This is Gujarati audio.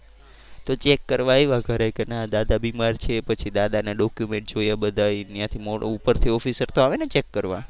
તો ચેક કરવા આવ્યા ઘરે કે ના દાદા બીમાર છે પછી દાદા ના document જોયા બધા ત્યાંથી ઉપર થી officer તો આવે ને ચેક કરવા.